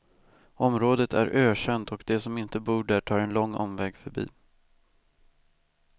Området är ökänt och de som inte bor där tar en lång omväg förbi.